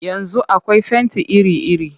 Yanzu akwai fenti iri-iri